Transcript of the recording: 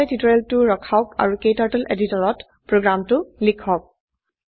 ইয়াতে টিউটোৰিয়ৰলটো ৰখাওক আৰু ক্টাৰ্টল এডিটৰত প্ৰোগ্ৰামটো লিখক